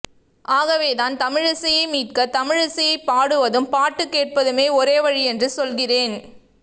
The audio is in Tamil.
ஆகவேதான் தமிழிசையை மீட்க தமிழிசையைப் பாடுவதும் பாட்டு கேட்பதுமே ஒரே வழி என்று சொல்கிறேன்